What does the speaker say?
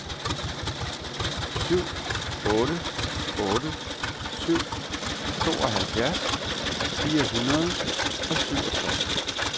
syv otte otte syv tooghalvtreds fire hundrede og syvogtres